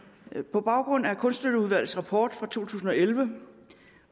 på baggrund af kunststøtteudvalgets rapport fra to tusind og elleve